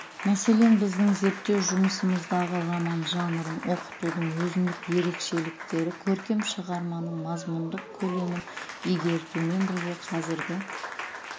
мәселен біздің зерттеу жұмысымыздағы роман жанрын оқытудың өзіндік ерекшеліктері көркем шығарманың мазмұндық көлемін игертумен бірге қазіргі